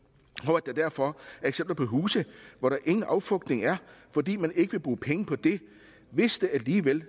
og at der derfor er eksempler på huse hvor der ingen affugtning er fordi man ikke vil bruge penge på det hvis der alligevel